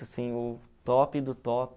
Assim, o top do top.